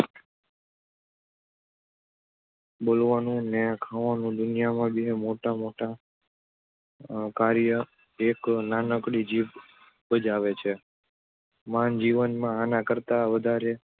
બોલવાનું ને ખાવાનું દુનિયામાં બે મોટા~મોટાં કાર્ય એક નાનકડી જીભ બજાવે છે. માનવજીવનમાં આના કરતાં વધારે